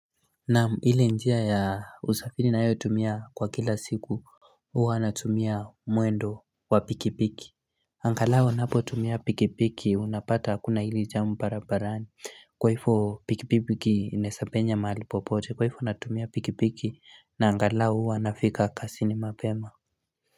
Naam, ile njia ya usafiri nayotumia kwa kila siku huwa natumia mwendo wa pikipiki Angalao napotumia pikipiki unapata hakuna ili jamu barabarani Kwaifo pikipiki inaesapenya mahali popote kwaifo anatumia pikipiki na angalao huwa nafika kasini mapema.